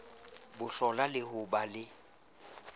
hohlola le ho ba le